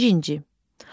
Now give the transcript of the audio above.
Birinci.